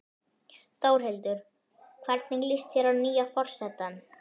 Þórhildur: Hvernig líst þér á nýja forsetann?